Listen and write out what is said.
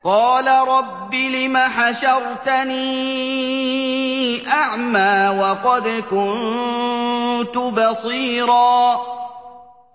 قَالَ رَبِّ لِمَ حَشَرْتَنِي أَعْمَىٰ وَقَدْ كُنتُ بَصِيرًا